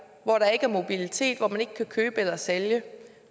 hvor der ikke er mobilitet hvor man ikke kan købe eller sælge